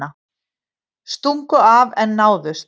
Stungu af en náðust